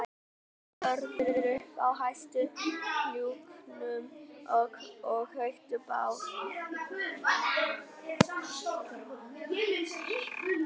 Þau hlóðu vörðu upp á hæsta hnúknum og kveiktu bál